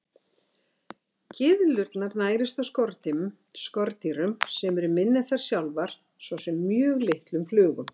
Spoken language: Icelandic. Gyðlurnar nærist á skordýrum sem eru minni en þær sjálfar, svo sem mjög litlum flugum.